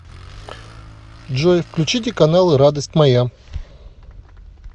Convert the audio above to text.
джой включите каналы радость моя